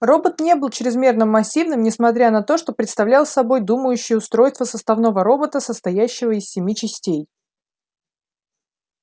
робот не был чрезмерно массивным несмотря на то что представлял собой думающее устройство составного робота состоявшего из семи частей